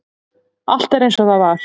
Allt er eins og það var.